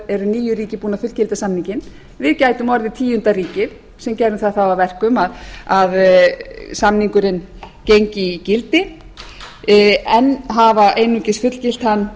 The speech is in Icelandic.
eru níu ríki búin að fullgilda samninginn við gætum verið tíunda ríkið sem gerðum það þá að verkum að samningurinn gengi í gildi enn hafa einungis fullgilt hann